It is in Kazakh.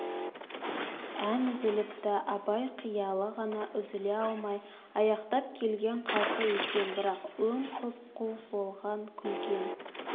ән үзіліпті абай қиялы ғана үзіле алмай аяқтап келген қалпы екен бірақ өң құп-қу болған күлген